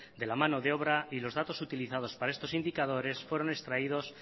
de la mano de obra y los datos utilizados para estos indicadores fueron extraídos